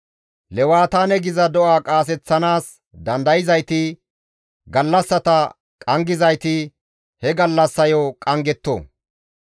Lewataane geetettiza do7a qaaseththanaas dandayzayti, gallassata qanggizayti, he gallassayo qanggetto.